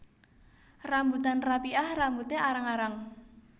Rambutan rapiah rambuté arang arang